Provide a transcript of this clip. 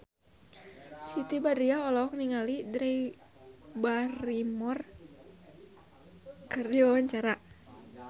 Siti Badriah olohok ningali Drew Barrymore keur diwawancara